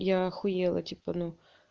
я ахуела типа ну